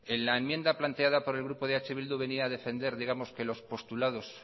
en la enmienda planteada por el grupo eh bildu venía a defender que los postulados